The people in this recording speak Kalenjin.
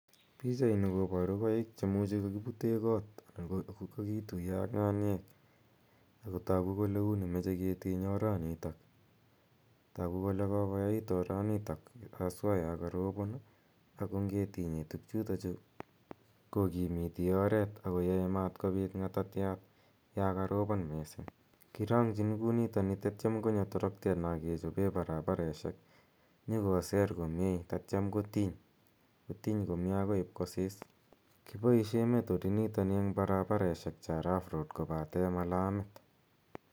Pichaini koparu koik che imuchi kakipute kot ako kakituya ak ng'aniek , ako tagu kole uni mache ketiny oranitok. Tagu kole kokoyait oranitok aswa ya karopon ako nge tinye tugchutacgu kokimiti oret ak koyae matkopit ng'atatiat ya karopon missing'. Kirang'chin kou nitani tatiam konyo toroktet na kechope paraparoshek nyu koser komye tatiam kotiny, kotiny komye akoi ip kosis. Kipaishe method initani eng' paraparoshek cha rough roads kopate ma lamit.